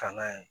Kan'a ye